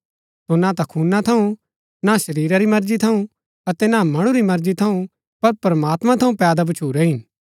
सो ना ता खूना थऊँ ना शरीरा री मर्जी थऊँ अतै ना मणु री मर्जी थऊँ पर प्रमात्मां थऊँ पैदा भच्छुरै हिन